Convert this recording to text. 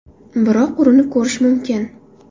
Biroq urinib ko‘rish mumkin.